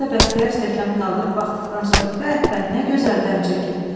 Usta Bəxtiyar stəkanı qaldırıb baxdıqdan sonra: "Pəh-pəh, nə gözəl dəm çəkib!"